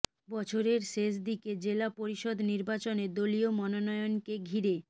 বছরের শেষ দিকে জেলা পরিষদ নির্বাচনে দলীয় মনোনয়নকে ঘিরে